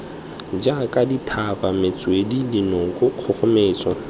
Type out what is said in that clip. jaaka dithaba metswedi dinoka kgogometso